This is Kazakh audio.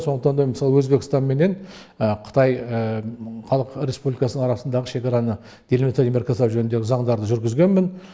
сондықтан да мысалы өзбекстан менен қытай халық республикасы арасындағы шекараны делимита демаркациялау жөніндегі заңдарды жүргізгенмін